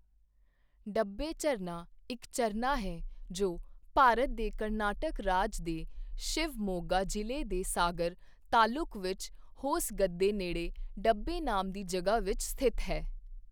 ਡੱਬੇ ਝਰਨਾ ਇੱਕ ਝਰਨਾ ਹੈ ਜੋ ਭਾਰਤ ਦੇ ਕਰਨਾਟਕ ਰਾਜ ਦੇ ਸ਼ਿਵਮੋਗਾ ਜ਼ਿਲ੍ਹੇ ਦੇ ਸਾਗਰ ਤਾਲੁਕ ਵਿੱਚ ਹੋਸਗੱਦੇ ਨੇੜੇ ਡੱਬੇ ਨਾਮ ਦੀ ਜਗ੍ਹਾ ਵਿੱਚ ਸਥਿਤ ਹੈ।